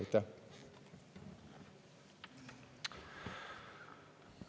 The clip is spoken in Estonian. Aitäh!